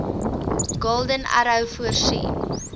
golden arrow voorsien